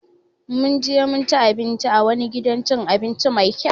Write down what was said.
Mun je mun ci abinci a wani gidan abinci Mai kyau.